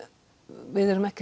við erum ekki